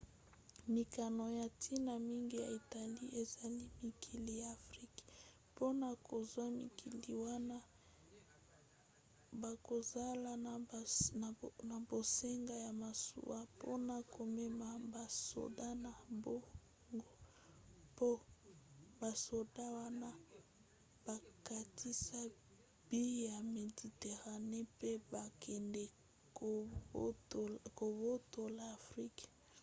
mikano ya ntina mingi ya italie ezali mikili ya afrika. mpona kozwa mikili wana bakozala na bosenga ya masuwa mpona komema basoda na bango mpo basoda wana bakatisa mbu ya méditerranée mpe bakende kobotola afrika